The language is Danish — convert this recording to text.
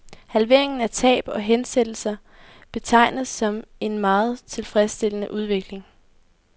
Halveringen af tab og hensættelser betegnes som en meget tilfredsstillende udvikling.